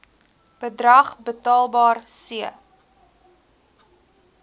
bedrag betaalbaar c